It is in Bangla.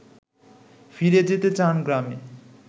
ফিরে যেতে চান গ্রামে